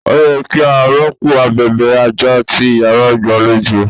Ó yẹ kí a rọ́pò abèbè àjà ti Ìyàrá igbalejo.